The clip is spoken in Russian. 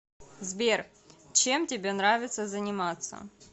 сбер чем тебе нравится заниматься